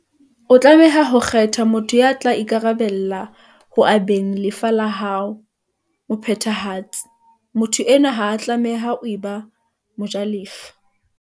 O tlameha ho kgetha motho ya tla ikarabella ho abeng lefa la hao, mo phethahatsi. Motho enwa ha a tlameha ho eba mo jalefa.